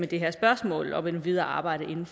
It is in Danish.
det her spørgsmål og det videre arbejde